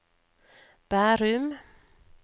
Bærum